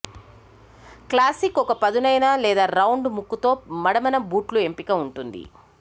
classic ఒక పదునైన లేదా రౌండ్ ముక్కు తో మడమ న బూట్లు ఎంపిక ఉంటుంది